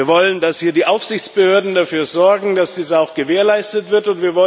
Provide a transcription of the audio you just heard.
Wir wollen, dass hier die Aufsichtsbehörden dafür sorgen, dass dies auch gewährleistet wird.